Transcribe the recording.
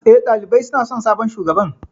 Eh, ɗalibai suna son sabon shugaban.